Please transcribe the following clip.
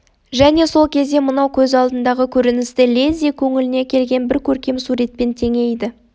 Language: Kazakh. және сол кезде мынау көз алдындағы көріністі лезде көңіліне келген бір көркем суретпен теңейді